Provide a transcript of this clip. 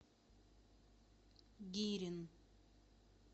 гирин